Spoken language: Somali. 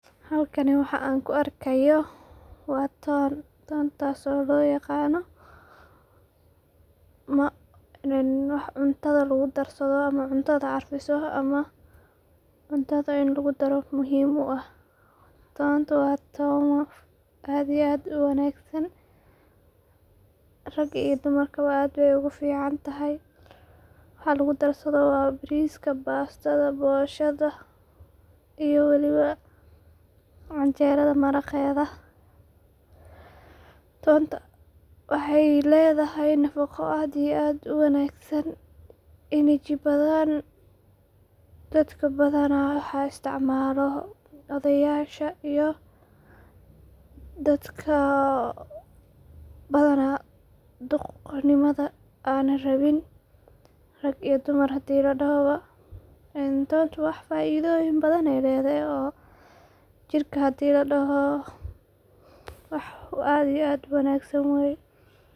Halkani waxan ku arkayo waa ton, tontas oo loqano wax cuntada lagu tarsado oo cuntada carfiso cuntada in lagudaro muhim uu ah, tontu waa toon aad uwagsan raga iyu dumarku baa aad bay oguficantahay, waxa lagu darsado waa bariska, bastada, boshada iyo welibo canjerada maraqeda, tonta waxay ledahay nafaqo aad iyo aad uwagsan energy badhan dadka badaanah, waxa istacmalo odeyasha iyo dadka badanah duq nimada anan rabin rag iyo dumarbo hadi ladoho boo, tonta wax faidoyin badhan ayay ledahay oo jirka hadi ladohoo wax aad iyo aad uwagsan weye.